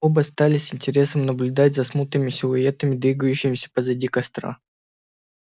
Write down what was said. оба стали с интересом наблюдать за смутными силуэтами двигающимися позади костра